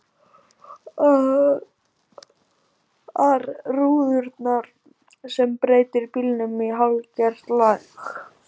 ar rúðurnar sem breytir bílnum í hálfgert leg.